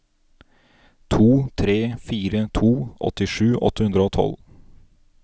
to tre fire to åttisju åtte hundre og tolv